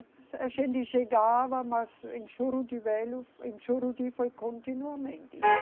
A gente chegava, mas em Juruti Velho, em Juruti foi continuamente, né?